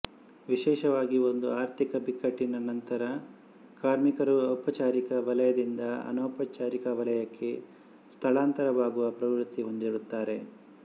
ವಿಶೇಷವಾಗಿ ಒಂದು ಆರ್ಥಿಕ ಬಿಕ್ಕಟ್ಟಿನ ನಂತರ ಕಾರ್ಮಿಕರು ಔಪಚಾರಿಕ ವಲಯದಿಂದ ಅನೌಪಚಾರಿಕ ವಲಯಕ್ಕೆ ಸ್ಥಳಾಂತರವಾಗುವ ಪ್ರವೃತ್ತಿ ಹೊಂದಿರುತ್ತಾರೆ